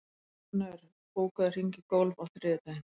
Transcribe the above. Knörr, bókaðu hring í golf á þriðjudaginn.